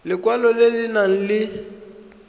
lekwalo le le nang le